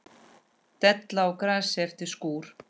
Della á grasi eftir skúr.